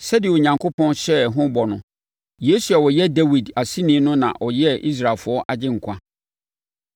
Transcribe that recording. “Sɛdeɛ Onyankopɔn hyɛɛ ho bɔ no, Yesu a ɔyɛ Dawid aseni no na ɔyɛɛ no Israelfoɔ Agyenkwa.